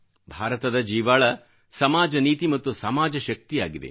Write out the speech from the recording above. ಭಾರತದ ಜೀವಾಳ ಸಮಾಜ ನೀತಿ ಮತ್ತು ಸಮಾಜ ಶಕ್ತಿಯಾಗಿದೆ